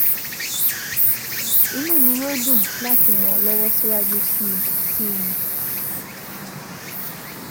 Inú mi yóò dùn láti ràn ọ́ lọ́wọ́ síwájú sí sí i